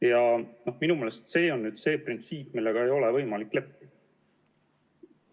Ja minu meelest see on nüüd see printsiip, millega ei ole võimalik leppida.